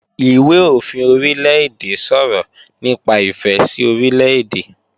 Ìwé-òfin Orílè-èdè sọ̀rọ̀ nípa ìfẹ́ sí Orílè-èdè